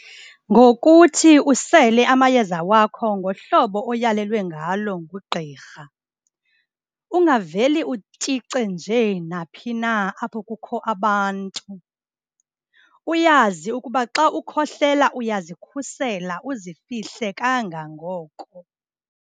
Ngokuthi usele amayeza wakho ngohlobo oyalelwe ngalo ngugqirha. Ungaveli utyice nje na phina apho kukho abantu. Uyazi ukuba xa ukukhohlela uyazikhusela uzifihle kangangoko.